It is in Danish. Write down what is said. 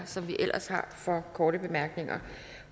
som vi ellers har for korte bemærkninger